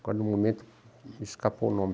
Agora, no momento, me escapou o nome.